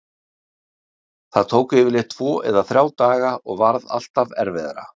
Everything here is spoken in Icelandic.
Það tók yfirleitt tvo eða þrjá daga og varð alltaf erfiðara.